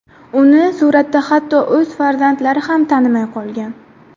Uni suratda hatto o‘z farzandlari ham tanimay qolgan.